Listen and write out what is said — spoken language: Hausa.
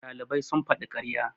ɗalibai sun faɗi ƙarya